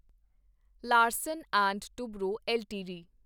Larsen and Toubro LTD